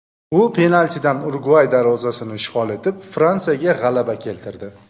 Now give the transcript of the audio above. U penaltidan Urugvay darvozasini ishg‘ol etib, Fransiyaga g‘alaba keltirdi.